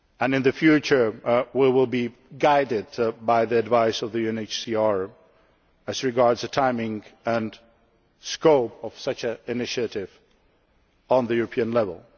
line. In the future we will be guided by the advice of the UNHCR as regards the timing and scope of such an initiative at European